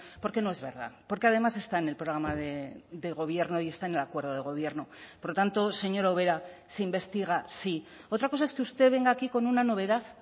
porque no es verdad porque además está en el programa de gobierno y está en el acuerdo de gobierno por lo tanto señora ubera se investiga sí otra cosa es que usted venga aquí con una novedad